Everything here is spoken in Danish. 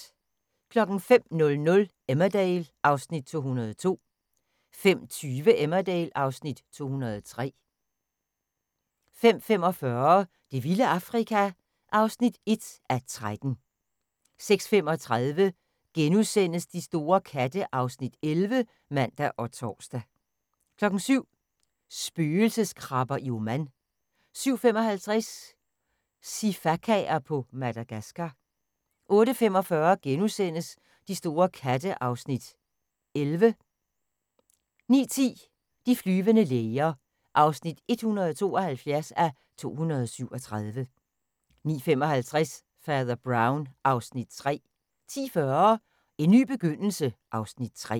05:00: Emmerdale (Afs. 202) 05:20: Emmerdale (Afs. 203) 05:45: Det vilde Afrika (1:13) 06:35: De store katte (Afs. 11)*(man og tor) 07:00: Spøgelseskrabber i Oman 07:55: Sifakaer på Madagascar 08:45: De store katte (Afs. 11)* 09:10: De flyvende læger (172:237) 09:55: Fader Brown (Afs. 3) 10:40: En ny begyndelse (Afs. 3)